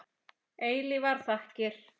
Eilífar þakkir.